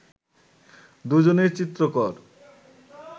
দুজনেই চিত্রকর